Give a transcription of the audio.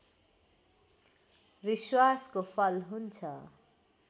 विश्वासको फल हुन्छ